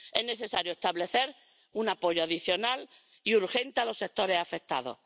es necesario establecer un apoyo adicional y urgente para los sectores afectados.